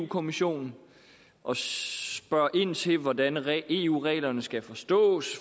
kommissionen og spørger ind til hvordan hvordan eu reglerne skal forstås